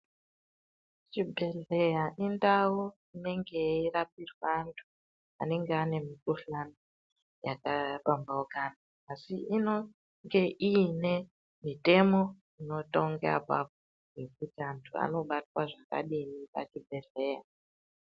Chibhedhleya indau inenge yeirapirwe antu anenge ane mikuhlani yakapambaukana asi inonge ine mitemo inotonga apapo yekuti antu anobatwa zvakadini pachibhedhleya.